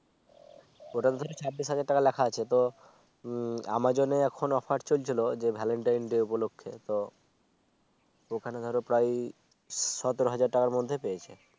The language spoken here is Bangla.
ওটাতো ধর ছাব্বিশ হাজার টাকা লেখা আছে তো amazon এ এখন Offer চলছিল যে Valentine's Day উপলক্ষে তো ওখানে ধরো প্রায়ই সতেরো হাজার টাকার মধ্যেই পেয়েছে